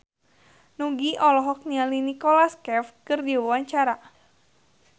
Nugie olohok ningali Nicholas Cafe keur diwawancara